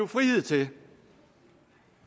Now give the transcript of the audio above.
frihed til